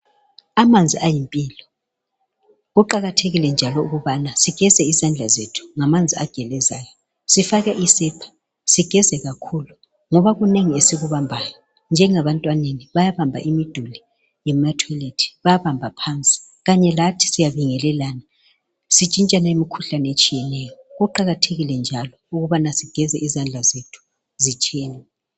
Amanzi ayimpilo. Kuqakathekile njalo ukubana sigeze izandla zethu ngamanzi agelezayo, sifake isepa, sigeze kakhulu, ngoba kunengi esikubambayo, njengabantwana bayabamba imiduli yama toilet, bayabamba phansi, kanye lathi siyabaingelelana, sitshintshane imikhuhlane etshiyeneyo. Kuqakathekile njalo ukubana sigeze izandla zethu zitshene.